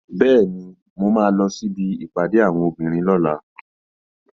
Bẹ́ẹ̀ni, mo máa lọ síbi ìpàdé àwọn obìnrin lọ́la